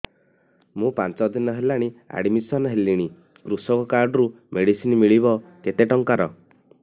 ମୁ ପାଞ୍ଚ ଦିନ ହେଲାଣି ଆଡ୍ମିଶନ ହେଲିଣି କୃଷକ କାର୍ଡ ରୁ ମେଡିସିନ ମିଳିବ କେତେ ଟଙ୍କାର